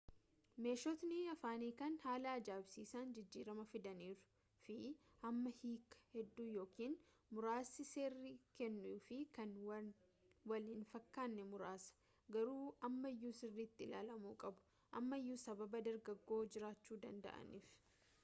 meeshotni afaan hiikaan haala aja’ibsiisan jijjirama fiidaniiru fi amma hiikaa hedduu yookiin muraasa sirrii kennuu fi kan wal hin fakkane muraasa garuu ammayu sirritti ilaalamu qabu ammayuu sababa dogogora jiraachu danda’aniif